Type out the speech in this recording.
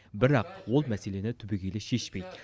бірақ ол мәселені түбегейлі шешпейді